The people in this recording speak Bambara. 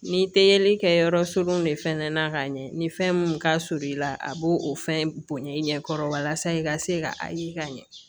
Ni te yeli kɛ yɔrɔ sodenw de fɛnɛ na ka ɲɛ ni fɛn mun ka surun i la a b'o o fɛn bonya i ɲɛkɔrɔ walasa i ka se ka ayi ka ɲɛ